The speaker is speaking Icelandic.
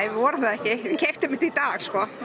vorum það ekki við keyptum þetta í dag